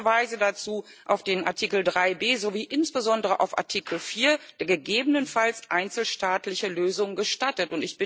Ich verweise dazu auf den Artikel 3 b sowie insbesondere auf Artikel 4, der gegebenenfalls einzelstaatliche Lösungen gestattet.